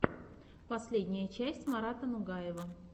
последняя часть марата нугаева